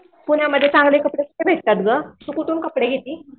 पुण्यामध्ये चांगले कपडे कुठे भेटतात गं तू कुठून कपडे घेती?